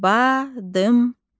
Badımcan.